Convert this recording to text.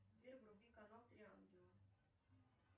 сбер вруби канал три ангела